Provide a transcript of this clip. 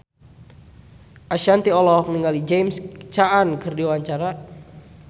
Ashanti olohok ningali James Caan keur diwawancara